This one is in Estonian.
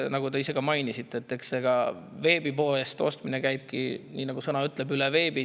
Nagu te ise ka mainisite, veebipoest ostmine käibki, nagu see sõna ütleb, veebi kaudu.